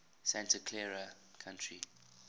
santa clara county